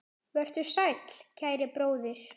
Vertu sæll, kæri bróðir.